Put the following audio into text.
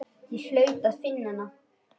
Ég hlaut að finna hana.